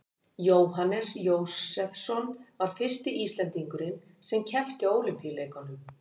Jóhannes Jósefsson var fyrsti Íslendingurinn sem keppti á Ólympíuleikum.